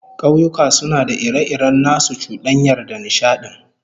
Kauyuka suna da ire-iren nasu cudanyar da nishadin